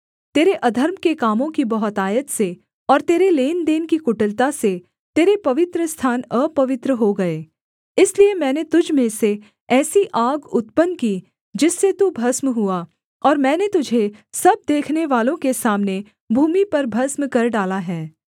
तेरे अधर्म के कामों की बहुतायत से और तेरे लेनदेन की कुटिलता से तेरे पवित्रस्थान अपवित्र हो गए इसलिए मैंने तुझ में से ऐसी आग उत्पन्न की जिससे तू भस्म हुआ और मैंने तुझे सब देखनेवालों के सामने भूमि पर भस्म कर डाला है